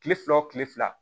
Kile fila o kile fila